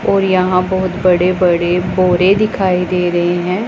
और यहां बहुत बड़े बड़े बोरे दिखाई दे रहें हैं।